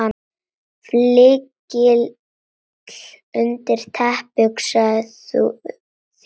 Flygill undir teppi, hugsaðu þér!